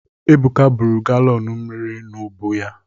Ebuka buru galọn mmiri n’ubu ya.